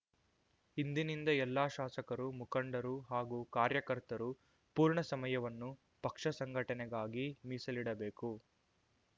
ಇಂದಿನಿಂದ ಎಲ್ಲ ಶಾಸಕರು ಮುಖಂಡರು ಹಾಗೂ ಕಾರ್ಯಕರ್ತರು ಪೂರ್ಣ ಸಮಯವನ್ನು ಪಕ್ಷ ಸಂಘಟನೆಗಾಗಿ ಮೀಸಲಿಡಬೇಕು